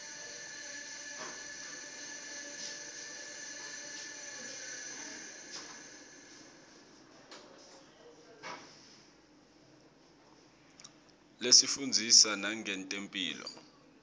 isifundzisa nangetemphilo